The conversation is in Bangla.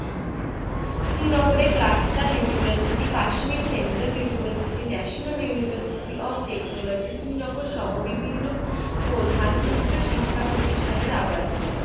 শ্রীনগরের cluster university, Kashmir central university, national university of technology শ্রীনগরসহ বিভিন্ন প্রধান উচ্চাশিক্ষা প্রতিষ্ঠানের আবাসস্থল।